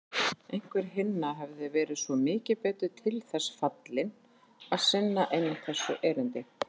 Einhver hinna hefði verið svo mikið betur til þess fallinn að sinna einmitt þessu erindi.